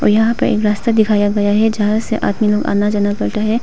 यहां पे एक रास्ता दिखाया गया है जहां से आदमी लोग आना जाना पड़ता है।